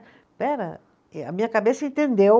Espera, e a minha cabeça entendeu.